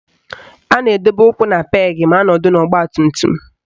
A na-edobe ụkwụ na peegị ma anọdụ n'ọgbatumtum